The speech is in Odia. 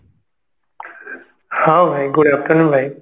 ହଁ ଭାଇ good afternoon ଭାଇ